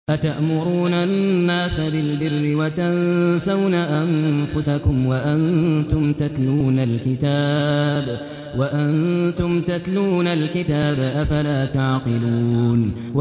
۞ أَتَأْمُرُونَ النَّاسَ بِالْبِرِّ وَتَنسَوْنَ أَنفُسَكُمْ وَأَنتُمْ تَتْلُونَ الْكِتَابَ ۚ أَفَلَا تَعْقِلُونَ